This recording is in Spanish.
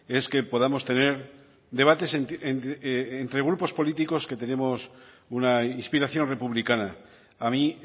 es que podamos tener debates entre grupos políticos que tenemos una inspiración republicana a mí